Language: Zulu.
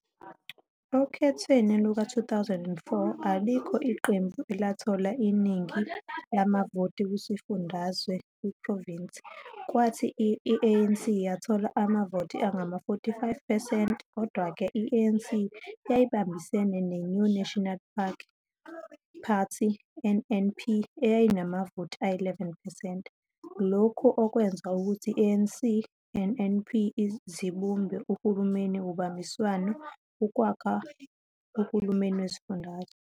Okhethweni luka-2004, alikho iqembu elathola iningi lamavoti kwisifundazwe, kwiprovinsi, kwathi i-ANC yathola amavoti angama-45 percent. Kodwa-ke, i-ANC yayibambisene neNew National National Party, NNP, eyayinamavoti ayi-11 percent, lokhu okwenza ukuthi i-ANC-NNP zibumbe uhulumeni wobambiswano ukwakha uhulumeni wesifundazwe.